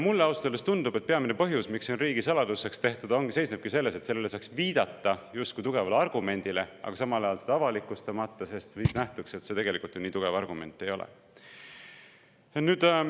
Mulle ausalt öeldes tundub, et peamine põhjus, miks see on riigisaladuseks, seisnebki selles, et sellele saaks viidata justkui tugevale argumendile, samal ajal seda avalikustamata, sest siis nähtuks, et see tegelikult ju nii tugev argument ei ole.